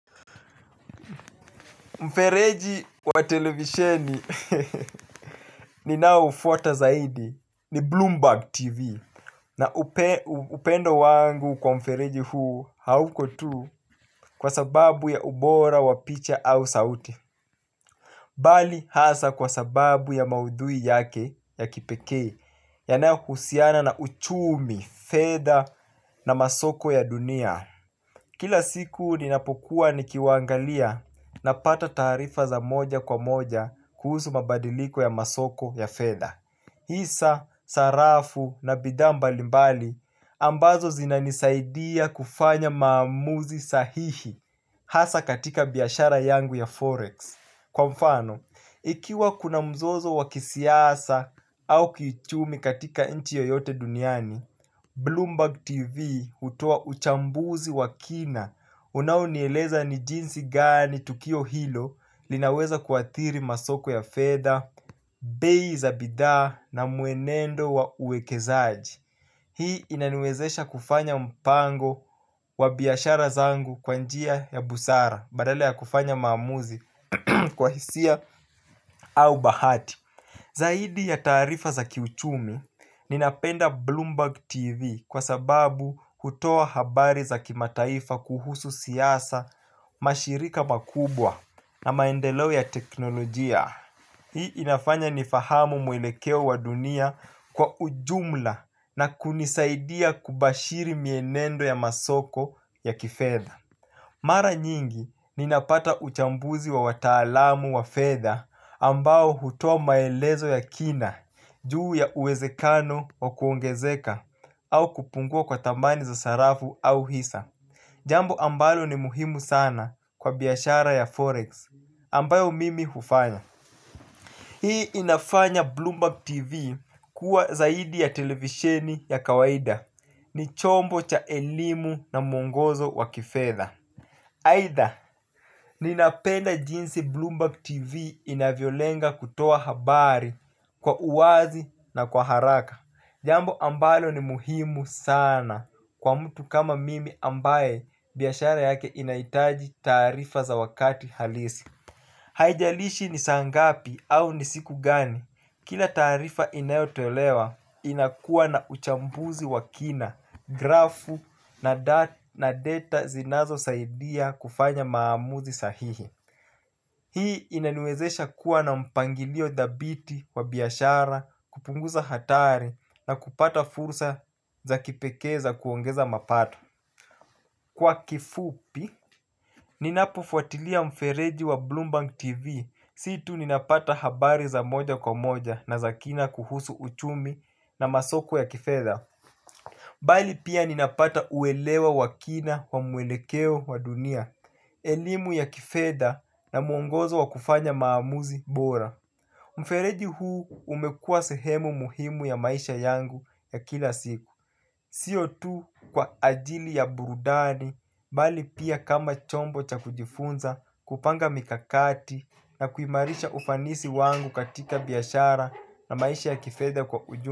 Mfereji wa televisheni ninaoufuata zaidi ni Bloomberg TV. Na upendo wangu kwa mfereji huu hauko tu kwa sababu ya ubora, wa picha au saute. Bali hasa kwa sababu ya maudhui yake ya kipekee. Yanayo husiana na uchumi, fedha na masoko ya dunia. Kila siku ninapokuwa nikiwangalia napata taarifa za moja kwa moja kuhusu mabadiliko ya masoko ya fedha. Hisa, sarafu na bidhaa mbalimbali ambazo zinanisaidia kufanya maamuzi sahihi hasa katika biashara yangu ya Forex. Kwa mfano, ikiwa kuna mzozo wa kisiasa au kichumi katika inchi yoyote duniani Bloomberg TV hutoa uchambuzi wa kina unao nieleza ni jinsi gani tukio hilo linaweza kuathiri masoko ya fedha. Bei za bidhaa na muenendo wa uwekezaji. Hii inaniwezesha kufanya mpango wa biashara zangu kwa njia ya busara badala ya kufanya maamuzi kwa hisia au bahati. Zaidi ya taarifa za kiuchumi Ninapenda Bloomberg TV Kwa sababu hutoa habari za kimataifa kuhusu siasa mashirika makubwa na maendelo ya teknolojia. Hii inafanya nifahamu mwelekeo wa dunia kwa ujumla na kunisaidia kubashiri mienendo ya masoko ya kifedha. Mara nyingi ninapata uchambuzi wa wataalamu wa fedha ambao hutoa maelezo ya kina juu ya uwezekano wa kuongezeka au kupungua kwa thamani za sarafu au hisa. Jambo ambalo ni muhimu sana kwa biashara ya Forex ambayo mimi hufanya. Hii inafanya Bloomberg TV kuwa zaidi ya televisheni ya kawaida ni chombo cha elimu na mwongozo wa kifedha aitha, ninapenda jinsi Bloomberg TV inavyolenga kutoa habari kwa uwazi na kwa haraka. Jambo ambalo ni muhimu sana kwa mtu kama mimi ambaye biashara yake inaitaji taarifa za wakati halisi. Haijalishi ni saa ngapi au ni siku gani. Kila taarifa inayotolewa inakuwa na uchambuzi wa kina, grafu na data zinazo saidia kufanya maamuzi sahihi. Hii inaniwezesha kuwa na mpangilio dhabiti wa biashara, kupunguza hatari na kupata fursa za kipekee za kuongeza mapato. Kwa kifupi, ninapo fuatilia mfereji wa Bloomberg TV, si tu ninapata habari za moja kwa moja na za kina kuhusu uchumi na masoko ya kifedha bali pia ninapata uelewa wa kina wa muelekeo wa dunia, elimu ya kifedha na muongozo wa kufanya maamuzi bora. Mfereji huu umekuwa sehemu muhimu ya maisha yangu ya kila siku. Sio tu kwa ajili ya burudani, bali pia kama chombo cha kujifunza kupanga mikakati na kuimarisha ufanisi wangu katika biashara na maisha ya kifedha kwa uju.